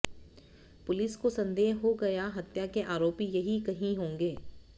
police को संदेह हो गया हत्या के आरोपी यहीं कहीं होगें